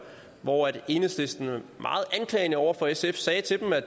hvor enhedslisten meget anklagende over for sf sagde til dem at